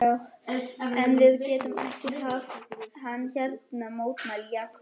En við getum ekki haft hann hérna mótmælti Jakob.